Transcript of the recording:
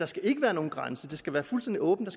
skal være nogen grænse at der skal være fuldstændig åbent at